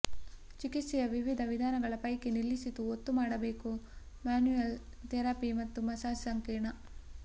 ಚಿಕಿತ್ಸೆಯ ವಿವಿಧ ವಿಧಾನಗಳ ಪೈಕಿ ನಿಲ್ಲಿಸಿತು ಒತ್ತು ಮಾಡಬೇಕು ಮ್ಯಾನ್ಯುಯಲ್ ಥೆರಪಿ ಮತ್ತು ಮಸಾಜ್ ಸಂಕೀರ್ಣ